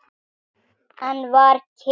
Enn var kyrrt.